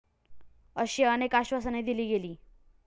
अशी अनेक आश्वासने दिली गेली.